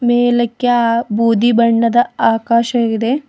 ಮೆಲ್ಲಕ್ಕೆ ಆ ಬೂದಿ ಬಣ್ಣದ ಆಕಾಶವಿದೆ.